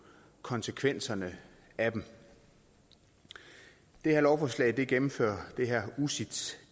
konsekvenserne af dem det her lovforslag gennemfører det her ucits